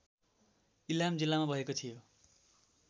इलाम जिल्लामा भएको थियो